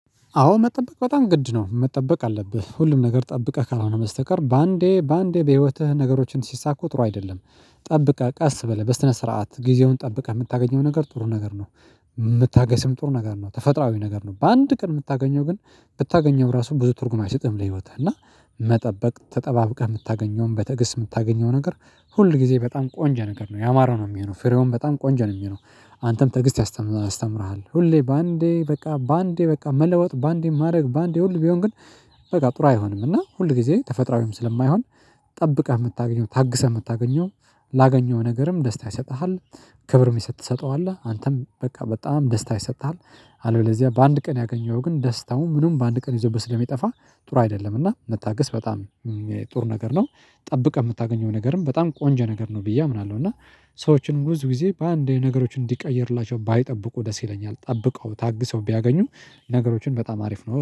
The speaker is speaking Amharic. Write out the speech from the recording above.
አዎ መጠበቅ በጣም ግድ ነው መጠበቅ አለብህ ሁሉም ነገር ጠብቀህ ካልሆነ በስተቀር በአንዴ በአንዴ በህይወትህ ነገሮችን ሲሳኩ ጥሩ አይደለም። ጠብቀህ ቀስ ብለህ በስነ ስርዓት ጊዜውን ጠብቀህ የምታገኘው ነገር ጥሩ ነገር ነው። የምታገስም ጥሩ ነገር ነው ተፈጥሮአዊ ነገር ነው በአንድ ቀን የምታገኘው ግን ብታገኘው ራሱ ብዙ ትርጉም አይሰጥም ለህይወትህ እና መጠበቅ ተጠባብቀህ የምታገኘውን በተገስ የምታገኘው ነገር ሁል ጊዜ በጣም ቆንጀ ነገር ነው ያማረው ነው የሚሆነው ፍሬውን በጣም ቆንጃ ነው የሚሆነው። አንተም ትዕግስት ያስተምርሃል ሁሌ በአንዴ በቃ በአንዴ በቃ መለወጥ በአንዴ ማድረግ ባንዴ ሁሉ ቢሆን ግን በቃ ጥሩ አይሆንም እና ሁል ጊዜ ተፈጥሮአዊም ስለማይሆን። ጠብቀህ የምታገኘው ታግሰህ የምታገኘው ላገኘው ነገርም ደስታ ይሰጥሃል። ክብርም ይሰጥ ትሰጠዋለህ አንተም በቃ በጣም ደስታ ይሰጥሃል። አለበለዚያ በአንድ ቀን ያገኘኸው ግን ደስታው ምኑም በአንድ ቀን ይዘው በስለሚጠፋ ጥሩ አይደለም። እና መታገስ በጣም ጥሩ ነገር ነው ጠብቀህ የምታገኘው ነገርም በጣም ቆንጃ ነገር ነው ብዬ አምናለሁ እና። ሰዎችን ውዝ ጊዜ በአንድ ነገሮች እንዲቀየርላቸው ባይጠብቁ ደስ ይለኛል ጠብቀው ታግሰው ቢያገኙም ነገሮችን በጣም አሪፍ ነው